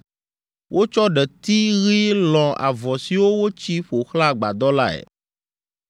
Wotsɔ ɖeti ɣi lɔ̃ avɔ siwo wotsi ƒo xlã agbadɔ lae.